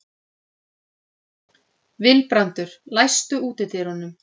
Vilbrandur, læstu útidyrunum.